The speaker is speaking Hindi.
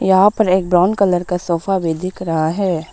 यहां पर एक ब्राउन कलर का सोफा भी दिख रहा है।